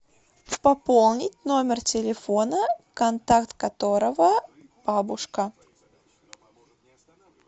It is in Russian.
пополнить номер телефона контакт которого бабушка